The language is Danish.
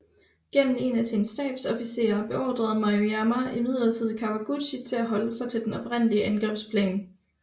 Gennem en af sine stabsofficerer beordrede Maruyama imidlertid Kawaguchi til at holde sig til den oprindelige angrebsplan